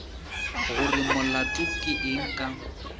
gore molato ke eng ka